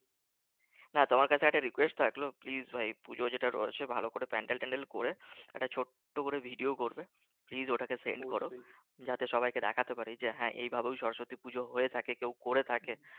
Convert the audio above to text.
না তোমার কাছে একটা request রাখলাম please ভাই পূজোর যেটা রয়েছে ভালো করে pandel